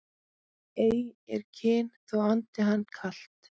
Ei er kyn þó andi hann kalt